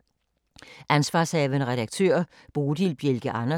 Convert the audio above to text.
Ansv. redaktør: Bodil Bjelke Andersen